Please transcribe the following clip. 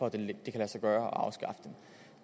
at det kan lade sig gøre